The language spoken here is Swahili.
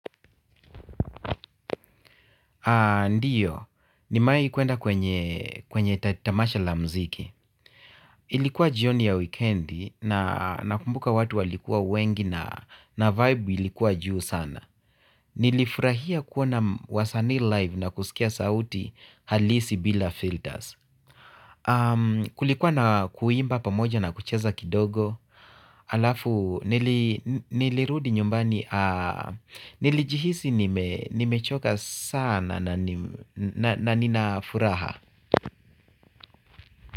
Ndiyo, ninewai kwenda kwenye tamasha la muziki. Ilikuwa jioni ya wikendi na nakumbuka watu walikuwa wengi na vibe ilikuwa juu sana. Nilifurahia kuona wasanii live na kusikia sauti halisi bila filters. Kulikuwa na kuimba pamoja na kucheza kidogo. Alafu nilirudi nyumbani. Nilijihisi nimechoka sana na nina furaha.